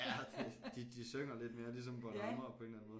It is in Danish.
Ja det de de synger lidt mere ligesom bornholmere på en eller anden måde